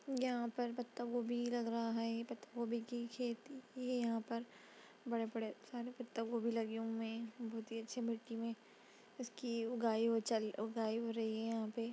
यहाँ पर पत्ता गोभी लग रहा है पत्ता गोभी की खेती की गयी है। यहाँ पर बड़े बड़े पत्ता गोभी लगे हुए हैं बहुत ही अच्छे मिट्टी में इसकी उगाई हो चल उगाई हो रही है यहाँ पे ।